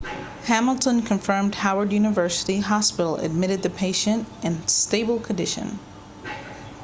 hamilton confirmed howard university hospital admitted the patient in stable condition